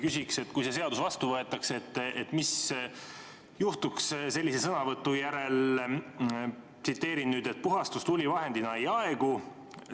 Küsin, et kui see seadus vastu võetakse, siis mis juhtuks sellise sõnavõtu järel: "Puhastustuli vahendina ei aegu.